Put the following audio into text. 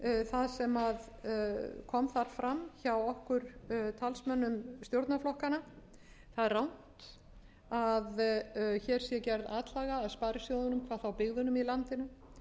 það sem kom þar fram hjá okkur talsmönnum stjórnarflokkanna það er rangt að hér sé gerð atlaga að sparisjóðunum hvað þá byggðunum í landinu